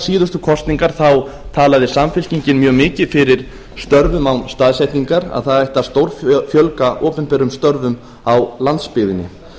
síðustu kosninga þá talaði samfylkingin mjög mikið fyrir störfum án staðsetningar að það ætti að stórfjölga opinberum störfum á landsbyggðinni